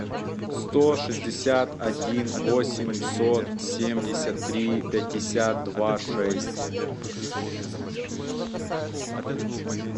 сто шестьдесят один восемьсот семьдесят три пятьдесят два шесть